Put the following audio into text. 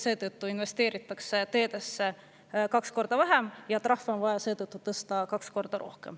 Seetõttu investeeritakse teedesse kaks korda vähem ja trahve on vaja seetõttu tõsta kaks korda.